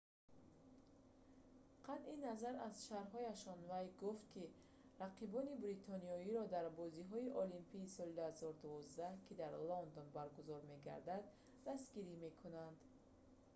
қатъи назар аз шарҳҳояш вай гуфт ки рақибони бритониёро дар бозиҳои олимпии соли 2012 ки дар лондон баргузор мегардад дастгирӣ мекунад